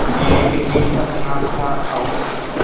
एक ही सपना था और